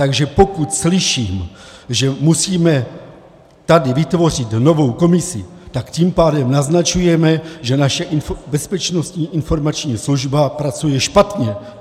Takže pokud slyším, že musíme tady vytvořit novou komisi, tak tím pádem naznačujeme, že naše Bezpečnostní informační služba pracuje špatně.